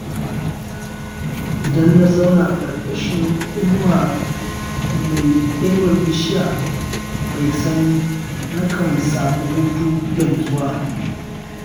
Idan na zauna ƙarƙashin inuwar bishiya mai sanyi, nakan samu hutu da nutsuwa.